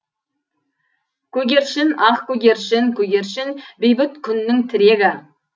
көгершін ақ көгершін көгершін бейбіт күннің тірегі